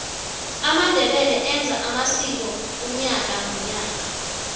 amandebele enza amsiko unyaka nonyaka